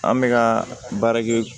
An bɛ ka baara kɛ